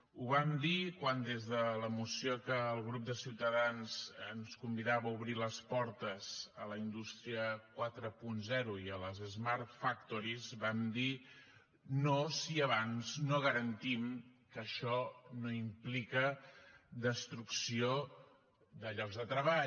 ho vam dir quan des de la moció que el grup de ciutadans ens convidava a obrir les portes a la indústria quaranta i a les smart factories vam dir no si abans no garantim que això no implica destrucció de llocs de treball